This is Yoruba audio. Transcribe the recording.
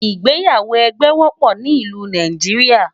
ìgbéyàwó ẹgbẹ wópò ní ìlú Nàìjíríà